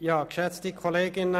– Das ist der Fall.